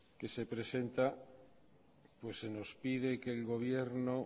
que se presenta pues se nos pide que el gobierno